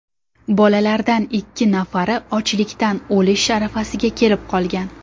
Bolalardan ikki nafari ochlikdan o‘lish arafasiga kelib qolgan”.